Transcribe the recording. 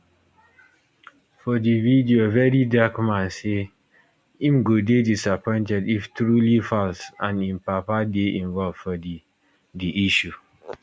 for di video very dark man say im go dey disappointed if truly falz and im papa dey involved for di di issue